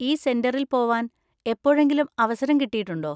ഈ സെന്‍ററിൽ പോവാൻ എപ്പോഴെങ്കിലും അവസരം കിട്ടിയിട്ടുണ്ടോ?